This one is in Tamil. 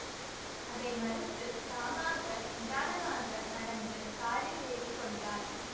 அதை மறுத்துத் தாமாக நிதானமாக நடந்து காரில் ஏறி கொண்டார்